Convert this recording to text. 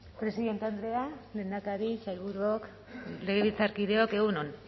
presidente andrea lehendakari sailburuok legebiltzarkideok egun on